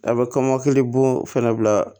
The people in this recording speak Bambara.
A' bɛ kɔmɔkili bon fɛnɛ bila